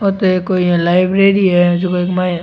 आ तो कोई एक लाइब्रेरी है जो का --